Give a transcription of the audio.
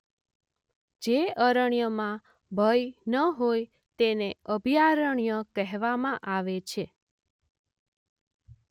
જે અરણ્યમાં ભય ન હોય તેને અભયારણ્ય કહેવામાં આવે છે.